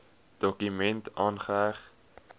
dokument aangeheg